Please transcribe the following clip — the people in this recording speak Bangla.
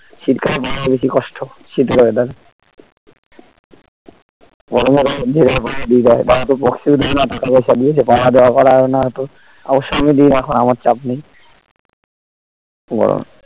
শীতকালে . বেশি কষ্ট শীতের weather এ . টাকা পয়সা দিয়েছে পাহাড়া দেওয়া করিও না অতো ওর সঙ্গে দিয়ে এখন আমার চাপ নেই উম